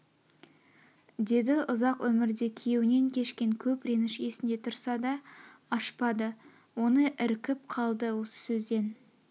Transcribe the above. деді ұзақ өмрде күйеунен кешкен көп реніш есінде тұрса да ашпады оны іркіп қалды осы сөзден